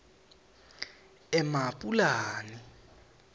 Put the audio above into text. emapulani